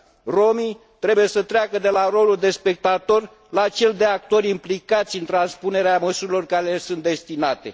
Rromii trebuie să treacă de la rolul de spectatori la cel de actori implicați în transpunerea măsurilor care le sunt destinate.